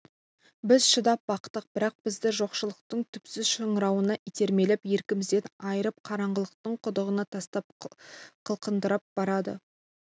біз шыдап бақтық бірақ бізді жоқшылықтың түпсіз шыңырауына итермелеп еркімізден айырып қараңғылықтың құдығына тастап қылқындырып барады